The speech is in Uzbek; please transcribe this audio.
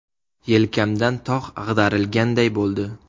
Yelkamdan tog‘ ag‘darilganday bo‘ldi.